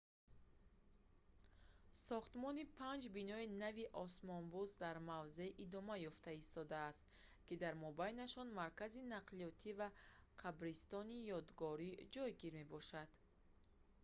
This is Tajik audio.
сохтмони панҷ бинои нави осмонбӯс дар мавзеъ идома ёфта истодааст ки дар мобайнашон маркази нақлиётӣ ва қабристони ёдгорӣ ҷойгир мебошанд